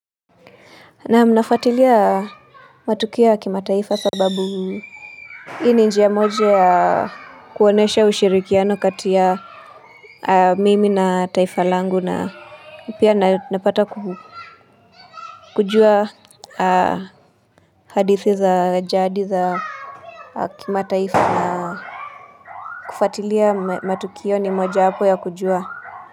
Naam nafatilia matukio ya kimataifa sababu Hii ni njia moja ya kuonyesha ushirikiano kati ya mimi na taifa langu na pia napata kujua hadithi za jaadi za kimataifa na kufatilia matukio ni mojaapo ya kujua.